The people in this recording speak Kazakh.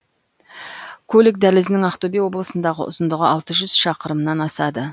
көлік дәлізінің ақтөбе облысындағы ұзындығы алты жүз шақырымнан асады